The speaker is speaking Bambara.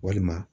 Walima